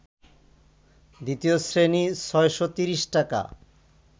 দ্বিতীয় শ্রেণী ৬৩০ টাকা